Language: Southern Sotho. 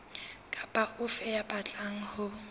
kapa ofe ya batlang ho